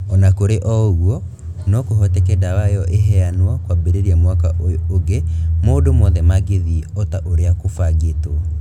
O na kũrĩ ũguo, no kũhoteke dawa ĩyo ĩheanwo, kwambĩrĩria mwaka ũyũ ũngĩ maũndũ mothe mangĩthiĩ o ta ũrĩa kũbangĩtwo.